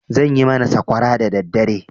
Zan yi mana sakwara dadaddare.